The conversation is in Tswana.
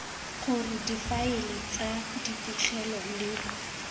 gore difaele tsa dipegelo le